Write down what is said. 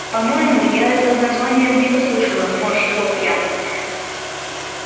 по-моему я это название где-то слышала морща лоб я